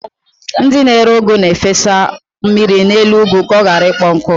Ndị na-ere ụgụ na-efesa mmiri n'elu ụgụ ka ọ ghara ịkpọnwụ.